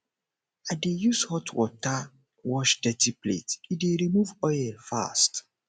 i dey use hot water wash dirty plates e dey remove oil fast